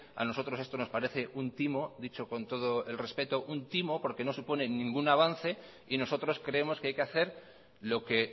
a nosotros esto nos parece un timo dicho con todo el respeto un timo porque no supone ningún avance y nosotros creemos que hay que hacer lo que